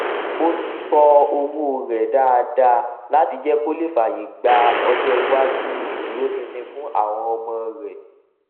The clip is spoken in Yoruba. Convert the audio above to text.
ó tọ owó rẹ dáadáa láti jẹ kó lè fàyè gba ọjọ iwájú ìdúróṣinṣin fún àwọn ọmọ rẹ